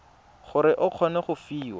gore o kgone go fiwa